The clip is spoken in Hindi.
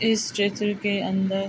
इस स्टेचू के अन्दर --